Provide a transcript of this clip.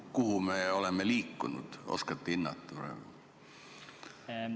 Kuhu me oleme liikunud, oskate hinnata praegu?